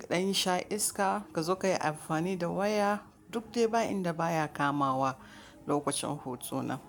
kaɗa sha iska ka zo ka yi amfani da waya duk dai ba inda baya kamawa lokacin hutu na.